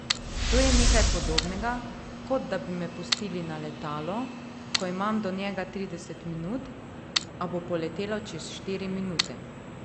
To je nekaj podobnega, kot da bi me pustili na letalo, ko imam do njega trideset minut, a bo poletelo čez štiri minute.